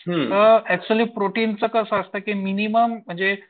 मग ऍक्च्युली प्रोटीनचं कसं असतं की मिनिमम